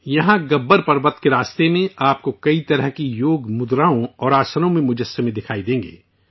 یہاں گبر پروت پہاڑ کے راستے میں آپ کو مختلف قسم کی یوگ مدراؤں اور آسنوں کے مجسمے دکھائی دیں گے